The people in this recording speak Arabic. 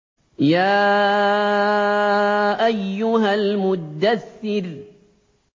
يَا أَيُّهَا الْمُدَّثِّرُ